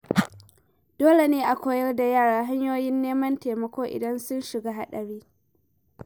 Dole ne a koyar da yara hanyoyin neman taimako idan sun shiga haɗari.